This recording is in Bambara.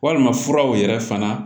Walima furaw yɛrɛ fana